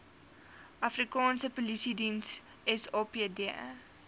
afrikaanse polisiediens sapd